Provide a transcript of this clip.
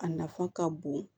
A nafa ka bon